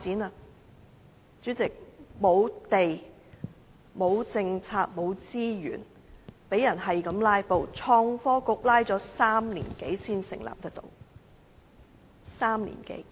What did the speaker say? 代理主席，沒有土地、沒有政策、沒有資源、被人不斷"拉布"，創新及科技局拖拉了3年多才能成立，是3年多。